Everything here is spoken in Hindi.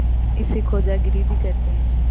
इसे खोजागिरी भी कहते हैं